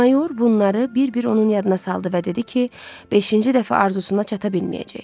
Mayor bunları bir-bir onun yadına saldı və dedi ki, beşinci dəfə arzusuna çata bilməyəcək.